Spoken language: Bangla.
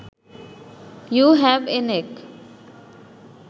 you have a neck